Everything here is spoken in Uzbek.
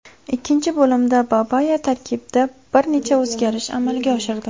Ikkinchi bo‘limda Babaya tarkibda bir necha o‘zgarish amalga oshirdi.